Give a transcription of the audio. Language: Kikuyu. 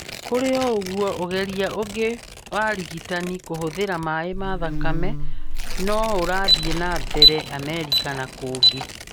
Kũrĩ oũguo, ũgeria ũngĩ wa ũrigitani kũhũthĩra maĩ ma thakame nĩũrathĩe na mbere Amerika na kũngĩ.